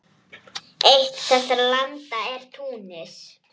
Eitt þessara landa er Túnis.